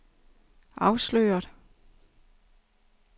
afsløret